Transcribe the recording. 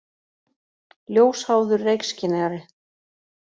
Ljósháður reykskynjari.